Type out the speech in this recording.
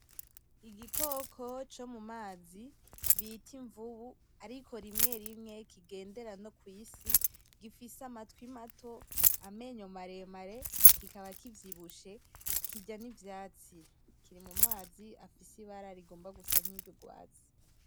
Igikoko co mu mazi bita imvubu ariko rimwe rimwe kigendera no kw'isi gifise amatwi mato, amenyo maremare kikaba kivyibushe kirya n'ivyatsi, kiri mu mazi afise ibara agomba gusa n'urwatsi.